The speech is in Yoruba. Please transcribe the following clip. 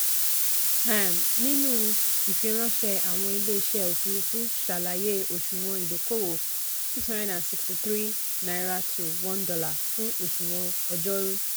um nínú ìfìránṣẹ́ àwọn ilé-iṣẹ́ òfuurufú ṣàlàyé òṣùwọ̀n ìdókòwò n663/$1 fún òṣùwọ̀n ọjọ́rú.